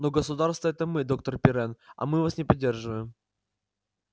но государство это мы доктор пиренн а мы вас не поддерживаем